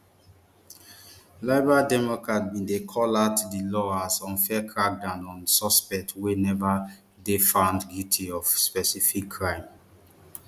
liberal democrats bin dey call out di law as unfair crackdown on suspects wey neva dey found guilty of specific crime